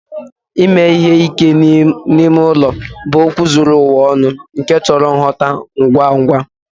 Ime ihe ike n'ime ụlọ bụ okwu zuru ụwa ọnụ nke chọrọ ngwọta ngwa ngwa.